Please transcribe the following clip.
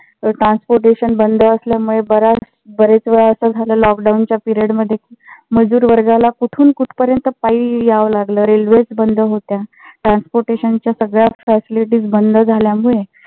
transportation बंद असल्यामुळे बऱ्याच बरेच वेळा अस झालं lockdown च्या period मध्ये मजूर वर्गाला कुठून कुठ्पार्यात पायी याव लागल रेल्वेज बंद होत्या. transportation च्या सगळ्याच facilities बंद झाल्यामुळे